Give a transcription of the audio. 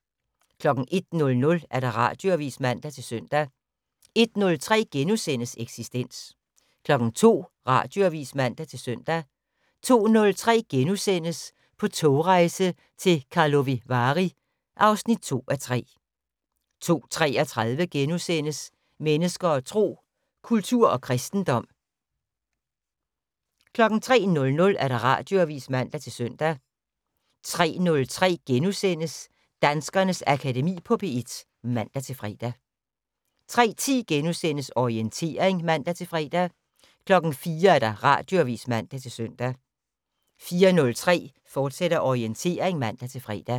01:00: Radioavis (man-søn) 01:03: Eksistens * 02:00: Radioavis (man-søn) 02:03: På togrejse til Karlovy Vary (2:3)* 02:33: Mennesker og Tro: Kultur og kristendom * 03:00: Radioavis (man-søn) 03:03: Danskernes Akademi på P1 *(man-fre) 03:10: Orientering *(man-fre) 04:00: Radioavis (man-søn) 04:03: Orientering, fortsat (man-fre)